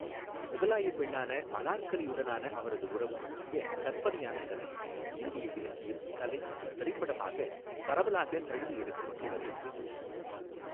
முகலாய பெண்ணான அனார்கலியுடனான அவரது உறவு பற்றிய கற்பனையான கதை இந்திய இலக்கியம், கலை மற்றும் திரைப்படமாக பரவலாக தழுவி எடுக்கப்பட்டுள்ளது.